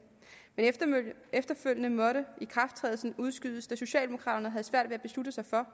men efterfølgende måtte ikrafttrædelsen udskydes da socialdemokraterne alligevel havde svært ved at beslutte sig for